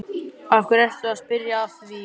Af hverju ertu að spyrja að því?